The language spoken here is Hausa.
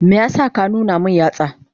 Me yasa ka nuna min yatsa?